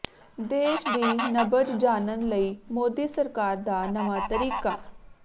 ਦੇਸ਼ ਦੀ ਨਬਜ਼ ਜਾਨਣ ਲਈ ਮੋਦੀ ਸਰਕਾਰ ਦਾ ਨਵਾਂ ਤਰੀਕਾ